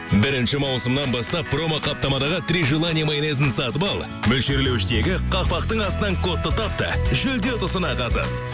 бірінші маусымнан бастап промоқаптамадағы три желание майонезін сатып ал мөлшерлеуіштегі қақпақтың астынан кодты тап та жүлде ұтысына қатыс